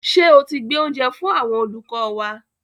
Ṣé o ti gbé oúnjẹ fún àwọn olùkọ́ wa?